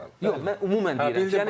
Yox, mən ümumən dedim.